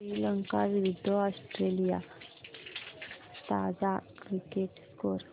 श्रीलंका विरूद्ध ऑस्ट्रेलिया ताजा cricket score